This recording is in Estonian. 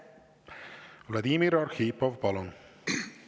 Vladimir Arhipov, palun!